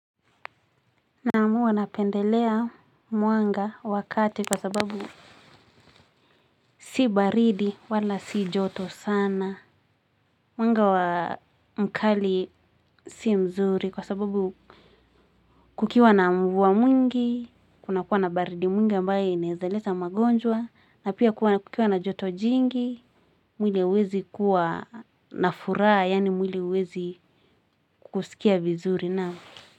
Naamu huwa napendelea mwanga wa kati kwa sababu si baridi wala si joto sana. Mwanga mkali si mzuri kwa sababu kukiwa na mvua mwingi kuna kuwa na baridi mwingi ambaye inaweza leta magonjwa na pia kukiwa na joto jingi mwili hauwezi kuwa na furaha yaani mwili huwezi kukusikia vizuri nao.